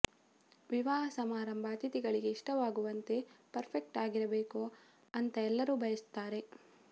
ವಿವಾಹ ಸಮಾರಂಭ ಅತಿಥಿಗಳಿಗೆ ಇಷ್ಟವಾಗುವಂತೆ ಪರ್ಫೆಕ್ಟ್ ಆಗಿರಬೇಕು ಅಂತಾ ಎಲ್ಲರೂ ಬಯಸ್ತಾರೆ